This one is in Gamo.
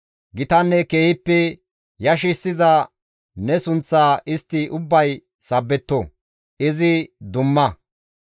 Gitanne keehippe yashissiza ne sunththa istti ubbay sabbetto! izi dumma!